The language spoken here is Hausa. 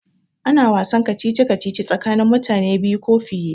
Ana wasan kacici kacici tsakanin mutane biyu ko fiye